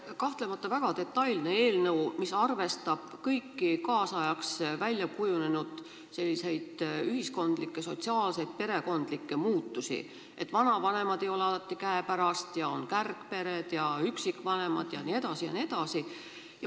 See on kahtlemata väga detailne eelnõu, mis arvestab kõiki ühiskonnas väljakujunenud peredega seotud muutusi, näiteks et vanavanemad ei ole alati käepärast, on kärgpered ja üksikvanemad jne, jne.